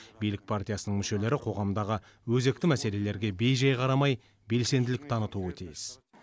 билік партиясының мүшелері қоғамдағы өзекті мәселелерге бейжай қарамай белсенділік танытуы тиіс